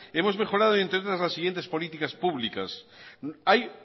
hemos mejorado entre otras las siguientes políticas públicas hay